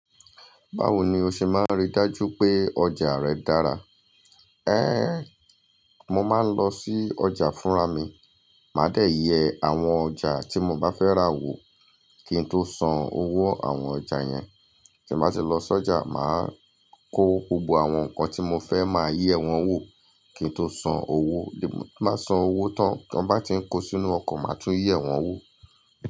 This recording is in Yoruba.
Báwo ni o ṣe máa ń rí i dájú pé ọjà rẹ̀ dára? Éh, mo máa ń lọ sí ọjà fúnra mi, màá dè yẹ àwọn ọjà tí mo bá fẹ́ rà wò kí n tó san owó àwọn ọjà yẹn. Ti mo bá ti lọ sọ́jà, màá kó gbogbo àwọn nǹkan tí mo fẹ́ màá yí ẹ wọn wò kí n tó san owó. Bí mo bá san owó tán, bí wọ́n bá ti ń kó sínú ọkọ̀, màá tún ye wọn wò.